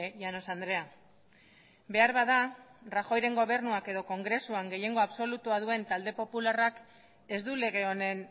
llanos andrea beharbada rajoyren gobernuak edo kongresuan gehiengo absolutua duen talde popularrak ez du lege honen